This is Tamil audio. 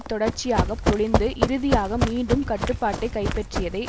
தொடர்ச்சியாக பொழிந்து இறுதியாக மீண்டும் கட்டுப்பாட்டை கைப்பற்றியதை